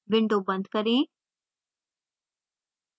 window बंद करें